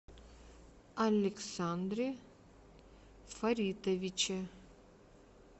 александре фаритовиче